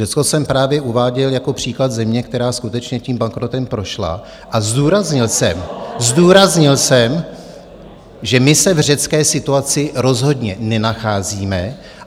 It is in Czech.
Řecko jsem právě uváděl jako příklad země, která skutečně tím bankrotem prošla, a zdůraznil jsem , zdůraznil jsem, že my se v řecké situaci rozhodně nenacházíme.